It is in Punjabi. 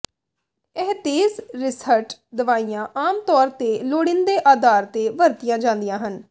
ਇਹ ਤੇਜ਼ ਰਿਸਹਟ ਦਵਾਈਆਂ ਆਮ ਤੌਰ ਤੇ ਲੋੜੀਂਦੇ ਆਧਾਰ ਤੇ ਵਰਤੀਆਂ ਜਾਂਦੀਆਂ ਹਨ